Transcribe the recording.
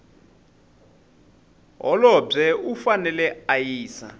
holobye u fanele a yisa